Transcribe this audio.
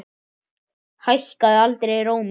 Hækkaði aldrei róminn.